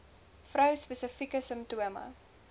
vrou spesifieke simptome